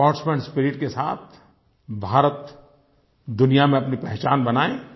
sportsman spirit के साथ भारत दुनिया में अपनी पहचान बनाए